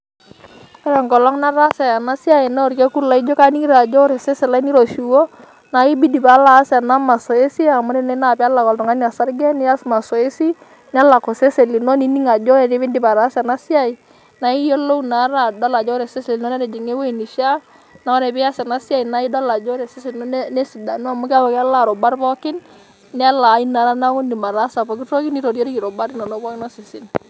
Ore enkolong' nataasa ena siai naa orkekun laijo kaning'ito ajo ore osesen lai niroshiwuo naake ibidi paalo aas ena mazoezi amu tene naa peelak oltung'ani osarge nias mazoezi nelak osesen lino nining' ajo ore piindip ataasa ena siai naae iyolou naa adol ajo ore osesen lino netijing'a ewuei nishaa, naaye ore pias ena siai naake idol ajo ore osesen lino nesidanu amu keeku kelaa irubat pookin, nelaayu naa neeku indim ataasa pookin toki nitoriori irubat inonok pookin osesen.